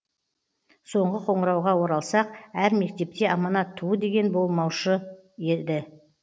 соңғы қоңырауға оралсақ әр мектепте аманат туы деген болмаушы еді